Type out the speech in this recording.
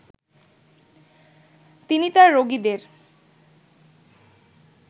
তিনি তাঁর রোগীদের